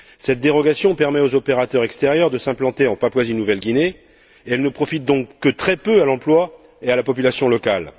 Cette dérogation permet aux opérateurs extérieurs de s'implanter en Papouasie Nouvelle Guinée et elle ne profite donc que très peu à l'emploi et à la population locale.